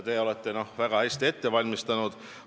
Te olete väga hästi ette valmistanud.